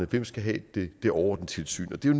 der skal have det det overordnede tilsyn det er